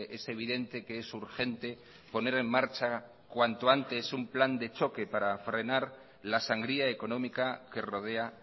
es evidente que es urgente poner en marcha cuanto antes un plan de choque para frenar la sangría económica que rodea